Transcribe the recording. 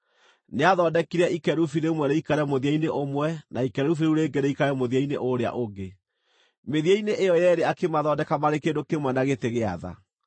Nĩathondekire ikerubi rĩmwe rĩikare mũthia-inĩ ũmwe na ikerubi rĩu rĩngĩ rĩikare mũthia-inĩ ũrĩa ũngĩ; mĩthia-inĩ ĩyo yeerĩ akĩmathondeka marĩ kĩndũ kĩmwe na gĩtĩ gĩa tha.